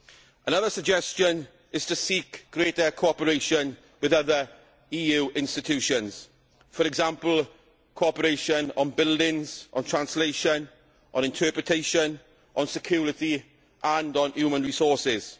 Another suggestion is to seek greater cooperation with other EU institutions, for example cooperation on buildings, on translation, on interpretation, on security and on human resources.